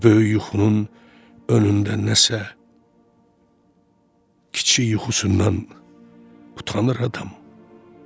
Bu böyük yuxunun önündə nəsə kiçik yuxusundan utanır adam.